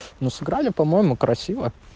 но сыграли по-моему красиво